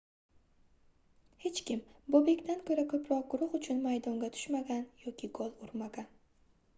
hech kim bobekdan koʻra koʻproq guruh uchun maydonga tushmagan yoki gol urmagan